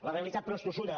la realitat però és tossuda